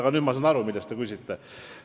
Aga nüüd ma sain aru, mille kohta te küsite.